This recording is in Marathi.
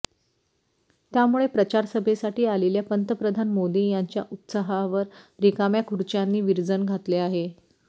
त्यामुळे प्रचारसभेसाठी आलेल्या पंतप्रधान मोदी यांच्या उत्साहवर रिकाम्या खुर्च्यांनी विरजन घातले आहे